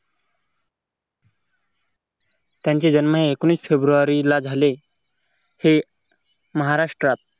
त्यांचे जन्म हे एकोणविस फेब्रुवारी ला झाले हे महाराष्ट्रात